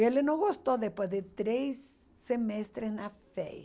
Ele não gostou depois de três semestres na FEI.